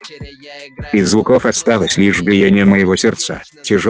из звуков осталось лишь биение моего сердца тяжёлое и медленное раскатистое словно лупили в барабан на дне ущелья